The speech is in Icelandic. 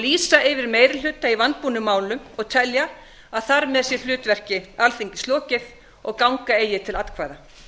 lýsa yfir meiri hluta í vanbúnum málum og telja að þar með sé hlutverki alþingis lokið og ganga eigi til atkvæða